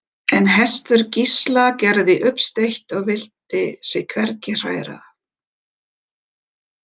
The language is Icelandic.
En hestur Gísla gerði uppsteyt og vildi sig hvergi hræra.